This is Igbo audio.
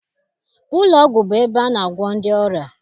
Ụlọọgwụ bụ ebe a na-agwọ ndị ọrịa.